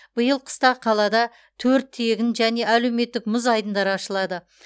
биыл қыста қалада төрт тегін яғни әлеуметтік мұз айдындары ашылады